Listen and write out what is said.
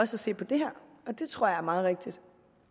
se på det her og det tror jeg er meget rigtigt